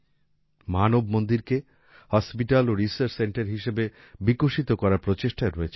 মানব মন্দির কে হাসপাতাল ও রিসার্চ সেন্টার হিসেবে বিকশিত করার প্রচেষ্টায় রয়েছেন